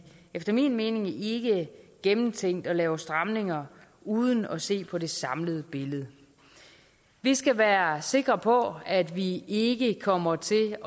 efter min mening ikke gennemtænkt at lave stramninger uden at se på det samlede billede vi skal være sikre på at vi ikke kommer til